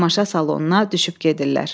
Tamaşa salonuna düşüb gedirlər.